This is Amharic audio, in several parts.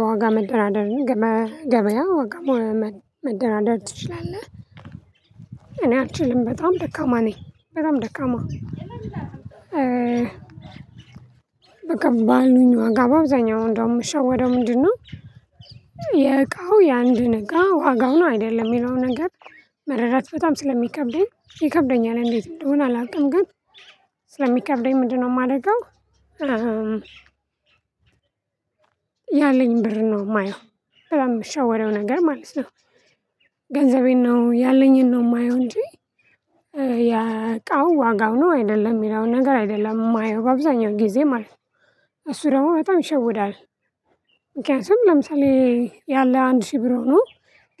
በዋጋ መደራደር ገበያ ዋጋ መደራደር ትችላለህ እኔ አልችልም በጣም ደካማ ነኝ በጣም ደካማ። በቃ ባሉኝ ዋጋ በአብዛኛው እንደው የምሸወደው ምንድነው? የእቃው የአንድ እቃ ዋጋዉን አይደለም የሚለው ነገር መረዳት በጣም ስለሚከብደኝ ይከብደኛል እንዴት እንደሆነ አላውቅም ግን ስለሚከብደኝ ምንድነው የማረገው ያለኝ ብር ነው የማየው በጣም እምሸወደው ነገር ማለት ነው። ገንዘቤን ነው ያለኝን ነው የማየው እንጂ ያቃው ዋጋው ነው አይደለም የሚለውን ነገር አይደለም የማየው አብዛኛው ጊዜ ማለት ነው እሱ ደግሞ በጣም ይሸውዳል። ምክንያቱም ለምሳሌ ያለ አንድ ሺህ ብር ሆኖ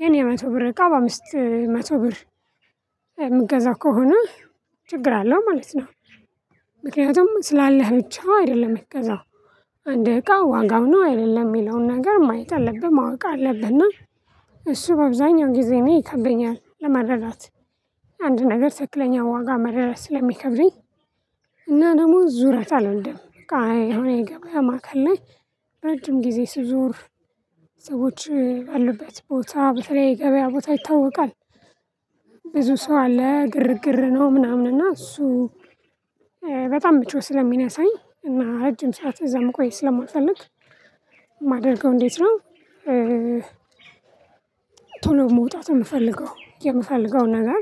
ግን የመቶ ብር እቃ በአምስት መቶ ብር የምገዛው ከሆነ ችግር አለው ማለት ነው። ምክንያቱም ስላለህ ብቻ አይደለም የምትገዛው አንድ እቃ ዋጋው ነው አይደለም የሚለውን ነገር ማየት አለብህ ማወቅ አለብህና እሱ በአብዛኛው ጊዜ ነው ይከብደኛል ለመረዳት። አንድ ነገር ትክክለኛ ዋጋ መረዳት ስለሚከብደኝ እና ደግሞ ዙረት አልወድም በቃ የሆነ ይገባያ ማዕከል ላይ ረጅም ጊዜ ስዞር ሰዎች ባሉበት ቦታ በተለይ የገበያ ቦታ ይታወቃል። ብዙ ሰው አለ ግርግር ነው ምናምን እና እሱ በጣም ምቾት ስለሚነሳኝ እና ረጅም ሰዓት እዛ መቆየት ስለማልፈልግ ማደርገው እንዴት ነው? ቶሎ መውጣት የምፈልገው የምፈልገው ነገር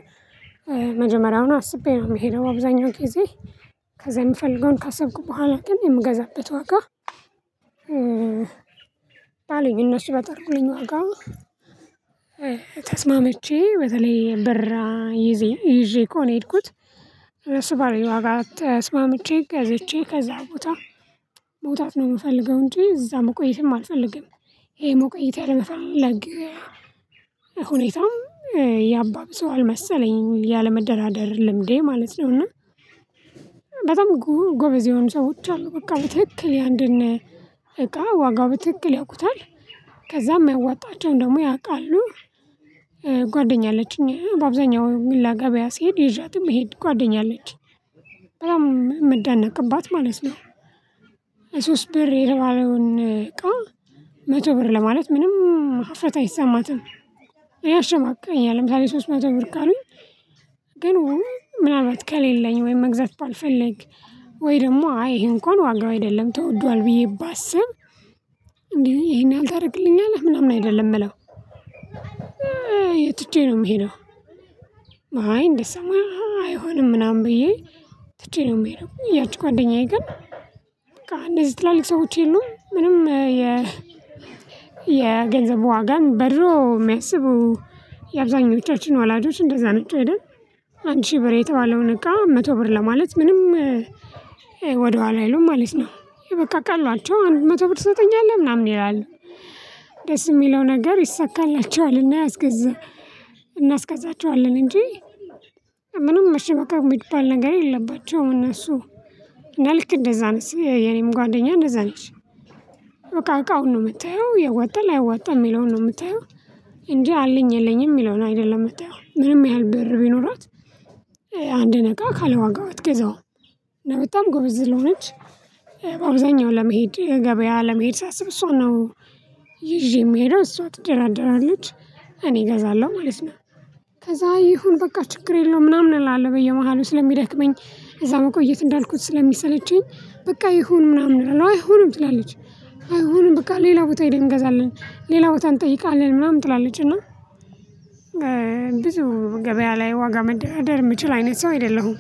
መጀመሪያውን አስቤ ነው የምሄደው አብዛኛው ጊዜ ከዛ የምፈልገውን ካሰብኩ በኋላ ግን የምገዛበት ወጋ ባሉኝ እነሱ በጠሩልኝ ዋጋ ተስማምቼ በተለይ በራ ይዜ ይዤ ከሆነ ነው የሄድኩት። እነሰ ባሉኝ ዋጋ ተስማምቼ ገዝቼ ከዛ ቦታ መውጣት ነው የምፈልገው እንጂ እዛ መቆየትም አልፈልግም ይሄ መቆየት ያለመፈለግ ሁኔታም ያባብሰዋል መሰለኝ ያለመደራደር ልምዴ ማለት ነው። እና በጣም ጎበዝ የሆኑ ሰዎች አሉ በቃ በትክክል የአንድን እቃ ዋጋው በትክክል ያውቁታል ከዛም የሚያዋጣቸውን ደግሞ ያውቃሉ። ጓደኛ አለችኝ በአብዛኛው ምላ ገበያ ስሄድ ይዣት እምሄድ ጓደኛ አለች በጣም አምደነቅባት ማለት ነው። ሶስት ብር የተባለዉን እቃ መቶ ብር ለማለት ምንም ሀፍረት አይሰማትም። እኔ የሸማቅቀኛል ለምሳሌ ሶስት መቶ ብር ካሉኝ ግን ምናልባት ከሌለኝ ወይም መግዛት ባልፈለግክ ወይ ደግሞ አይ ይሄ እንኳን ዋጋው አይደለም ተወዷል ብዬ ባስብ እንዴ ይሄን ያህል ታደርግልኛለህ ምናምን አይደለም እለው ትቼ ነው ነምሄደው። አይ እንደዛማ አይሆንም ምናምን ብዬ ትቼ ነው የምሄደው ያቺ ጓደኛዬ ግን በቃ እንደዚህ ትላልቅ ሰዎች የሉም ምንም የ የገንዘብ ዋጋን በድሮ የሚያስቡ የአብዛኞቻችን ወላጆች እንደዛ ነው አንድ ሺህ ብር የተባለውን እቃ መቶ ብር ለማለት ምንም ወደኋላ አይሉም ማለት ነው በቃ ቀሏቸው መቶ ብር ትሰጠኛለህ ምናምን ይላሉ። ደስ የሚለው ነገር ይሰካላችኋል እና ያስገዛ እናስገዛቸዋለን እንጂ ምንም መሸበካት የሚባል ነገር የለባቸውም እነሱ እና ልክ እንደዛ ነስ የኔም ጓደኛ እንደዛ ነሽ። በቃ እቃዉን ነው የምትየው የዋጠል አይዋጠም የሚለውን ነው የምትየው እንጂ አለኝ የለኝም የሚለውን አይደለም የምትያው ምንም ያህል ብር ቢኖራት አንድ ነገር ካለ ዋጋው አትግዛውም እና በጣም ጎበዝ ስልሆነች በአብዛኛው ለመሄድ ገበያ ለመሄድ ሳስብ እሷ ነው ይዤ የምሄደው እሷ ትደራደራለች። እኔ እገዛለሁ ማለት ነው ከዛ ይሁን በቃ ችግር የለውም ምናምን እላለሁ በየመሃሉ ስለሚደክመኝ እዛ መቆየት እንዳልኩት ስለሚሰለቸኝ በቃ ይሁኑ ምናምን እላለው አይሆንም ትላለች አይሆኑም በቃ ሌላ ቦታ ሄደን እንገዛለን ሌላ ቦታ እንጠይቃለን ምናምን ትላለችና። ብዙ ገበያ ላይ ዋጋ መደርደር የምችል አይነት ሰው አይደለሁም